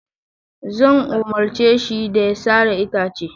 Zan umarce shi da ya sare itacen.